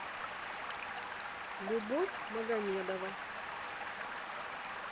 любовь магомедова